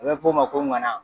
A bɛ f'o ma ko ŋana.